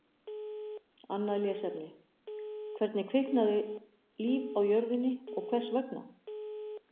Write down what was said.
Annað lesefni: Hvenær kviknaði líf á jörðinni og hvers vegna?